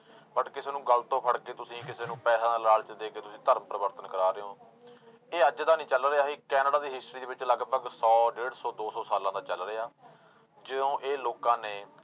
But ਕਿਸੇ ਨੂੰ ਗਲ ਤੋਂ ਫੜਕੇ ਤੁਸੀਂ ਕਿਸੇ ਨੂੰ ਪੈਸਿਆਂ ਦਾ ਲਾਲਚ ਦੇ ਕੇ ਤੁਸੀਂ ਧਰਮ ਪਰਿਵਰਤਨ ਕਰਵਾ ਰਹੇ ਹੋ ਇਹ ਅੱਜ ਦਾ ਨੀ ਚੱਲ ਰਿਹਾ ਇਹ ਕੈਨੇਡਾ ਦੀ history ਦੇ ਵਿੱਚ ਲਗਪਗ ਸੌ ਡੇਢ ਸੌ ਦੋ ਸੌ ਸਾਲਾਂ ਦਾ ਚੱਲ ਰਿਹਾ, ਜਿਉਂ ਇਹ ਲੋਕਾਂ ਨੇ